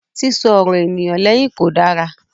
Sísọ ọ̀rọ̀ ènìyàn lẹ́yìn kò dára.